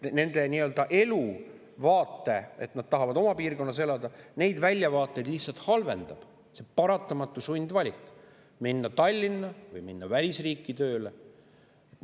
Nende nii-öelda eluvaadet, et nad tahavad piirkonnas elada, ja nende väljavaateid halvendab sundvalik minna tööle Tallinna või välisriiki.